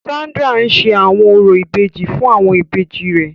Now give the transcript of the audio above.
Sandra n ṣe awọn orȯ ìbejì fun awọn ìbejì rẹ.